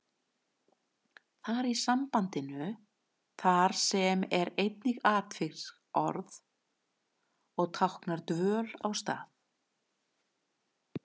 Þar í sambandinu þar sem er einnig atviksorð og táknar dvöl á stað.